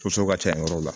ka ca yɔrɔ la